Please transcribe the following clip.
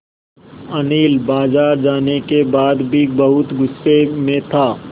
अनिल बाज़ार जाने के बाद भी बहुत गु़स्से में था